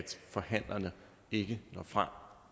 forhandlerne ikke når frem